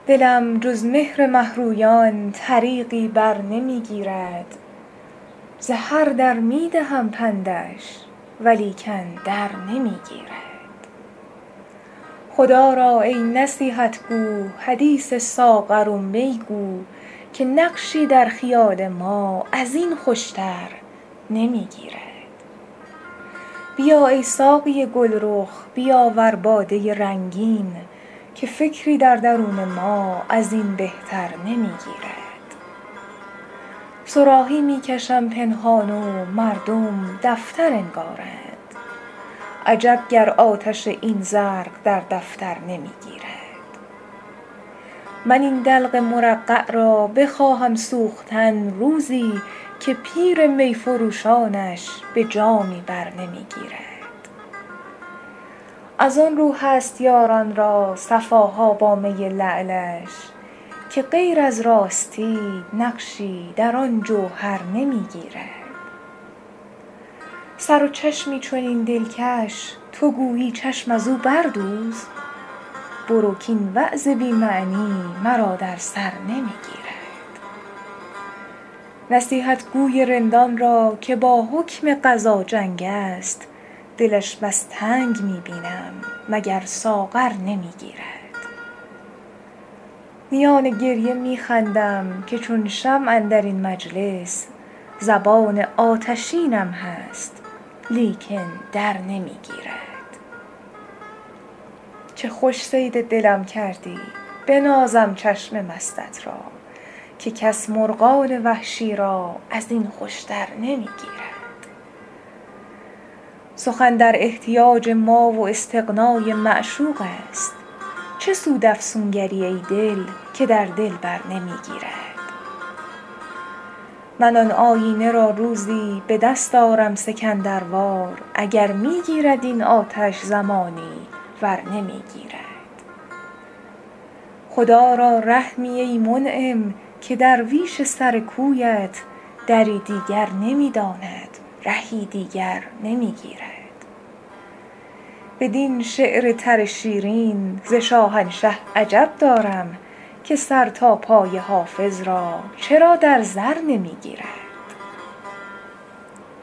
دلم جز مهر مه رویان طریقی بر نمی گیرد ز هر در می دهم پندش ولیکن در نمی گیرد خدا را ای نصیحت گو حدیث ساغر و می گو که نقشی در خیال ما از این خوش تر نمی گیرد بیا ای ساقی گل رخ بیاور باده رنگین که فکری در درون ما از این بهتر نمی گیرد صراحی می کشم پنهان و مردم دفتر انگارند عجب گر آتش این زرق در دفتر نمی گیرد من این دلق مرقع را بخواهم سوختن روزی که پیر می فروشانش به جامی بر نمی گیرد از آن رو هست یاران را صفا ها با می لعلش که غیر از راستی نقشی در آن جوهر نمی گیرد سر و چشمی چنین دلکش تو گویی چشم از او بردوز برو کاین وعظ بی معنی مرا در سر نمی گیرد نصیحتگو ی رندان را که با حکم قضا جنگ است دلش بس تنگ می بینم مگر ساغر نمی گیرد میان گریه می خندم که چون شمع اندر این مجلس زبان آتشینم هست لیکن در نمی گیرد چه خوش صید دلم کردی بنازم چشم مستت را که کس مرغان وحشی را از این خوش تر نمی گیرد سخن در احتیاج ما و استغنا ی معشوق است چه سود افسونگر ی ای دل که در دلبر نمی گیرد من آن آیینه را روزی به دست آرم سکندر وار اگر می گیرد این آتش زمانی ور نمی گیرد خدا را رحمی ای منعم که درویش سر کویت دری دیگر نمی داند رهی دیگر نمی گیرد بدین شعر تر شیرین ز شاهنشه عجب دارم که سر تا پای حافظ را چرا در زر نمی گیرد